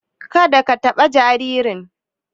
Ka da ka taɓa jaririn!